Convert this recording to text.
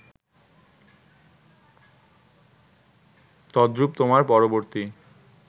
তদ্রুপ তোমার পরবর্তী